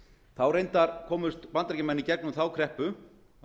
þá reyndar komust bandaríkjamenn í gegnum þá kreppu